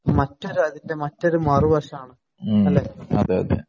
മറ്റൊരു അതിന്‍റെ മറ്റൊരു മറുവശമാണ്. അല്ലെ?